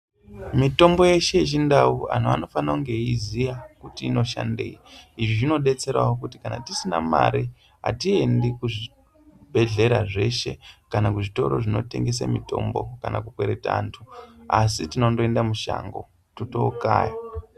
Mitombo yeshe yechindau antu anofaninge achiiziya kuti inoshandei, izvi zvinodetseredza kuti kana tisina mari atiende kuzvibhedhlera zveshe kana kuzvitoro zvinotengese mitombo kana kukwereta antu ,asi tinongoenda mushango totondokaya.